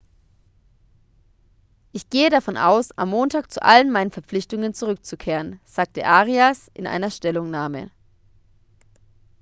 ich gehe davon aus am montag zu allen meinen verpflichtungen zurückzukehren sagte arias in einer stellungnahme